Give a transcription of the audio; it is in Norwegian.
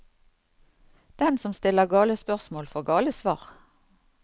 Den som stiller gale spørsmål, får gale svar.